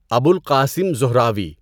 Abu Al Qasim Zahrawi